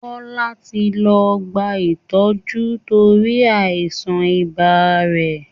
Kọ́lá ti lọ gba ìtọ́jú lórí àìsàn ibà rẹ̀